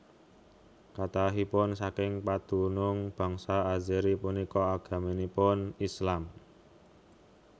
Kathahipun saking padunung bangsa Azeri punika agaminipun Islam